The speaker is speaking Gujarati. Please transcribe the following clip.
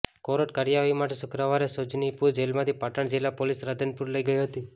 કોર્ટ કાર્યવાહી માટે શુક્રવારે સુજનીપુર જેલથી પાટણ જિલ્લા પોલીસ રાધનપુર લઈ ગઈ હતી